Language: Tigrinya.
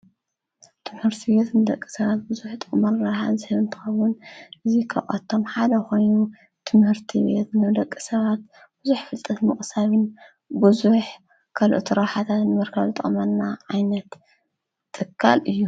ትምርቲቤት ምደቂ ሰባት ብዙኅ ጠመልረሃት ዘህምንታዉን እዙይ ከዖቶም ሓደ ኾይኑ ትምህርቲ ቤት ነውደቂ ሰባት ብዙኅ ፍልጠት ምቕሳብን ብዙኅ ከልኦ ተራሓታት ንመርከል ጠመና ዓይነት ትካል እዩ።